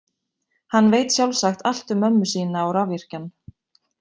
Hann veit sjálfsagt allt um mömmu sína og rafvirkjann.